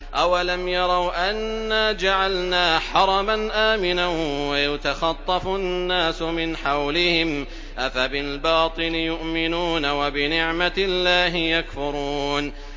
أَوَلَمْ يَرَوْا أَنَّا جَعَلْنَا حَرَمًا آمِنًا وَيُتَخَطَّفُ النَّاسُ مِنْ حَوْلِهِمْ ۚ أَفَبِالْبَاطِلِ يُؤْمِنُونَ وَبِنِعْمَةِ اللَّهِ يَكْفُرُونَ